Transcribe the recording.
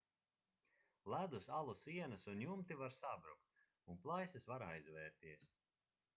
ledus alu sienas un jumti var sabrukt un plaisas var aizvērties